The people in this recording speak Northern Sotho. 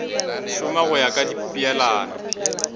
šoma go ya ka dipeelano